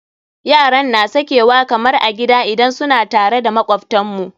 Yaran na sakewa kamar a gida idan suna tare da makwabtan mu.